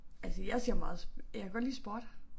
Altså jeg ser meget jeg kan godt lide sport